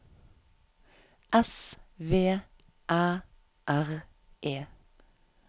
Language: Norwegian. S V Æ R E